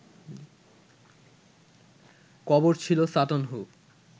কবর ছিল ‘সাটন হু’